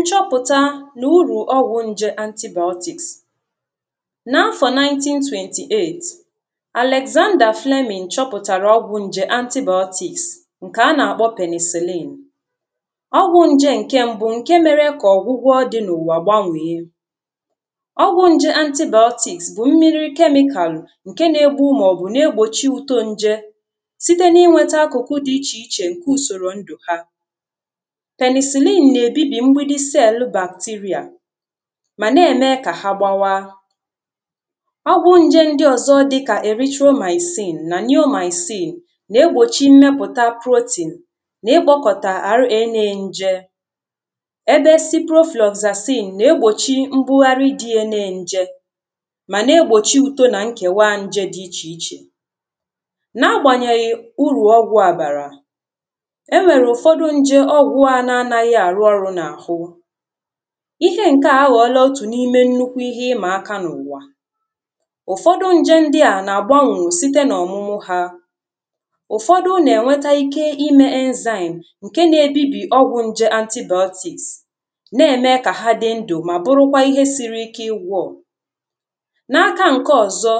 nchọpụtà na uru ọgwụ̀ njè antibiotics na afọ 1928 Alexander Fleming chọpụtarà ọgwụ̀ njè antibiotics nké a na-akpọ penicillin ọgwụ̀ njè nké mbụ nke merè ka ọgwụgwọ dị na ụwa gbanwè ọgwụ̀ njè antibiotics bụ mmiri chemical nke na-egbu maọbụ na-egbochi uto nje sitē na-inweta akụ akụ dị iche iche nke usoro ndụ ha penicillin na-ebibi mgbidi isi elu bacteria ma na-eme ka ha gbawa ọgwụ nje ndị ọzọ dịka erythromycin na neomycin na-egbochi mmeputa protein na-egbōkọta R.A na nje ebe ciprofloxacin na-egbochi mgbughari dị ye na-njè ma na-egbochi uto na nkewa nje dị iche ichè na agbanyeghi uru ọgwụ a barā e nwere nje ọgwụ a na anaghị arụ ọrụ na ahụ̄ ihe nke a aghọla otù na ime nnukwu ihe ima aka na ụwā ụfọdụ nje ndị a na agbanwu sitē na ọmụmụ hà ụfọdụ na enweta ike ime enzyme nke na ebibi ọgwụ nje antibiotics na-eme ka ha dị ndụ ma bụrụkwa ihe siri ike igwọ̀ na aka nke ọzọ̀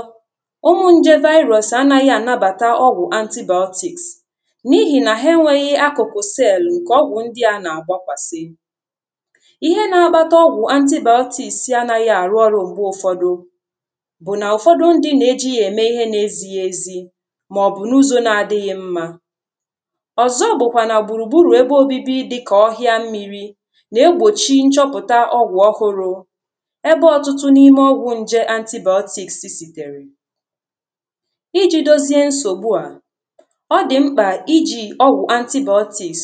ụmụ nje virus anaghị anabata ọgwụ antibiotics na ihi na ha enweghi akụkụ cell nke ọgwụ ndị a na agbakwasị̀ ihe na-akpata ọgwụ antibiotics na anaghị arụ ọrụ mgbe ụfọdụ bụ na ụfọdụ ndị na-eji ya eme na ezighi ezī maọbụ na ụzọ na adịghị mmā ọzọ bụkwa na gburugburu ebe obibi dịka ọhịa mmiri na-egbochi nchọpụtà ọgwụ ọhụrụ ebe ọtụtụ na ime ọgwụ nje antibiotics siterè iji dozie nsogbu a ọ dịmkpa iji ọgwụ antibiotics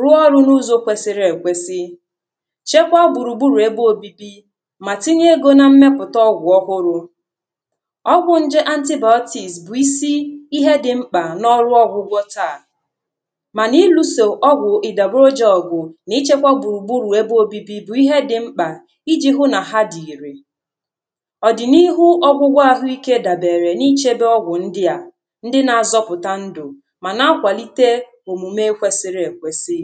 rụọ ọrụ na ụzọ kwesiri ekwesī chekwa gburugburu ebe obibi ma tinye egō na mmeputa ọgwụ ọhụrụ ọgwụ nje antibiotics bụ isi ihe dimkpa na ọlụ ọgwụgwọ̄ taà ma na-iluso ọgwụ idagborojọgwụ̀ na-ichekwa gburugburu ebe obibi bụ ihe dimkpà iji hụ na ha dị irè ọdịnaihu ọgwụgwọ ahụike dabere na ichebe ọgwụ ndị a ndị na-azọpụtà ndụ̀ ma na-akwalite omume kwesiri ekwesì